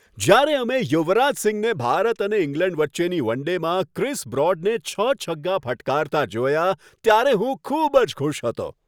જ્યારે અમે યુવરાજ સિંહને ભારત અને ઇંગ્લેન્ડ વચ્ચેની વન ડેમાં ક્રિસ બ્રોડને છ છગ્ગા ફટકારતા જોયા, ત્યારે હું ખૂબ જ ખુશ હતો.